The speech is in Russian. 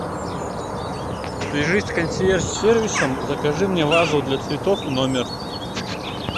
свяжись с консьерж сервисом закажи мне вазу для цветов в номер